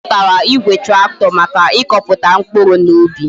O zutara Igwe tractor Maka ikoputa mkpuru na ubi